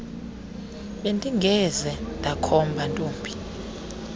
bendingeze ndakhomba ntombi